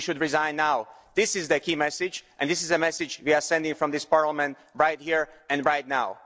He should resign now. This is the key message, and this is a message we are sending from this Parliament right here and right now.